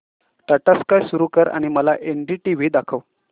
Tata Sky सुरू कर आणि मला एनडीटीव्ही दाखव